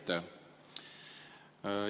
Aitäh!